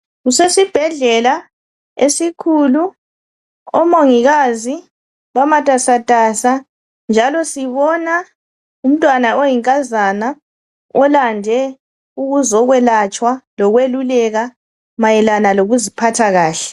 Kusesibhedlela esikhulu, omongikazi bamatasa tasa njalo sibona umntwana oyinkazana olande ukuzokwelatshwa lokweluleka mayelana lokuziphatha kahle.